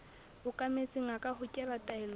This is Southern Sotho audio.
okametseng a ka hokela taelong